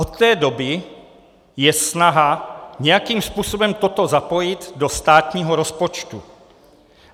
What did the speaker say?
Od té doby je snaha nějakým způsobem toto zapojit do státního rozpočtu.